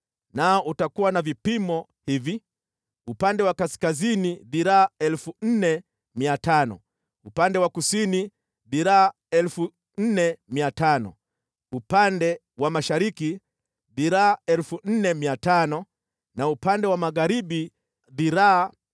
nao utakuwa na vipimo hivi: upande wa kaskazini dhiraa 4,500, upande wa kusini dhiraa 4,500, upande wa mashariki dhiraa 4,500 na upande wa magharibi dhiraa 4,500.